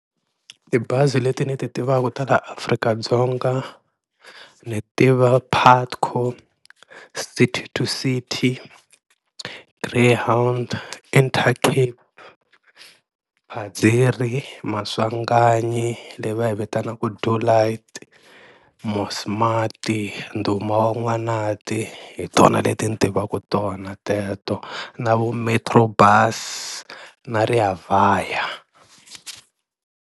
Tibazi leti ni ti tivaka ta la Afrika-Dzonga ni tiva Putco, City to City, Greyhound, Intercape, Phadziri, Maswanganyi leyi va yi vitanaka Do Light, Mosmat, Ndhuma Wa Van'wanati hi tona leti ni tivaka tona teto na vo Metro Bus na Rea Vaya.